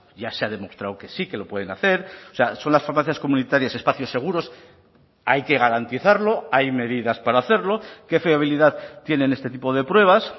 ya se ha demostrado que sí que lo pueden hacer o sea son las farmacias comunitarias espacios seguros hay que garantizarlo hay medidas para hacerlo qué fiabilidad tienen este tipo de pruebas